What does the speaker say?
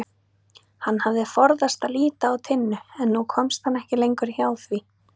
Hann hafði forðast að líta á Tinnu en nú komst hann ekki lengur hjá því.